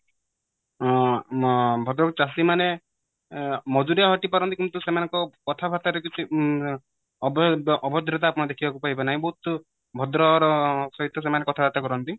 ଅ ଭଦ୍ରକ ଚାଷୀ ମାନେ ମଜୁରିଆ ଅଟି ପାରନ୍ତି କିନ୍ତୁ ସେମାନଙ୍କ କଥା ବାର୍ତା ରେ କିଛି ଅଭ ଅଭଦ୍ରତା ଦେଖିବାକୁ ପାଇବେ ନାହିଁ ବହୁତ ଭଦ୍ର ର ସହିତ ସେମାନେ କଥା ବାର୍ତା କରନ୍ତି